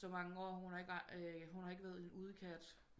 Så mange år hun har ikke været en udekat